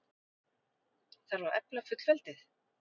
Þarf að efla fullveldið?